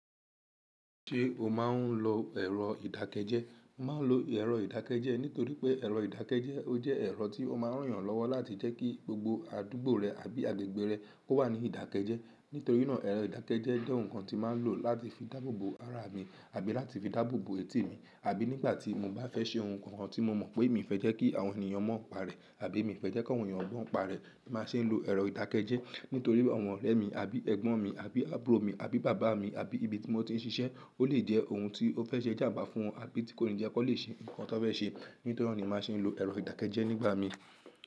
Ṣé o máa ń lo ẹ̀rọ ìdákẹ́jẹ́? Mo ma ń lo ẹ̀rọ ìdákẹ́jẹ́ nítorí pé ẹ̀rọ ìdákẹ́jẹ́ ó jẹ́ ẹ̀rọ tí ó má ń ràn yàn lọ́wọ́ láti jẹ́ kí gbogbo àdúgbò rẹ àbí agbègbè rẹ ó wà ní ìdákẹ́jẹ́. Nítorí náà ẹ̀rọ ìdákẹ́jẹ́ jẹ́ ohun kan tí mo máa ń lò láti fi dáàbò bo ara mi àbí láti fi dáàbò bo etí mi, àbí nígbà tí mo bá fẹ́ ṣe ohun kan tí mo mọ̀ pé mi fẹ́ jẹ́ kí àwọn ènìyàn mọ̀ ọ́n pa rẹ̀ àbí mi fẹ́ jẹ́ kí àwọn ènìyàn gbọ́ ọ́n pa rẹ̀, mo má ṣe ń lo ẹ̀rọ ìdákẹ́jẹ́. Nítorí àwọn ọ̀rẹ́ mi àbí Ẹgbọ́n mi àbí àbúrò mi àbí Bàbá mi àbí ibi tí mo ti ń ṣiṣẹ́ ó lè jẹ́ ohun tí ó fẹ́ ṣe ìjàǹbá fún wọn àbí tí kò ní jẹ́ kó lè ṣe nǹkan tí wọ́n fẹ́ ṣe. Nítorí náà ni mo máa ṣe ń lo ẹ̀rọ ìdákẹ́jẹ́ nígbà mi.